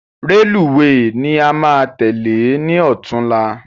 Rélùweè ni a máa tèlé ni ọ̀túnla